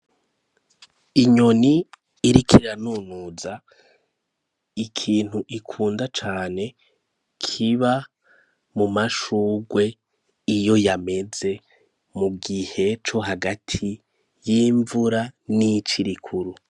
Inyoni iriko iranunuza ikintu ikunda cane, kiba mu mashugwe iyo yameze mu gihe co hagati y'imvura n'ici rikuru.